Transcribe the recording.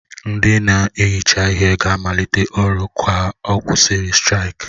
Ndị na-ehicha ihe ga-amalite ọrụ ka a kwụsịrị straiki.